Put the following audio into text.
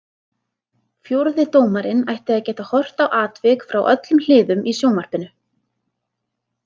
Fjórði dómarinn ætti að geta horft á atvik frá öllum hliðum í sjónvarpinu.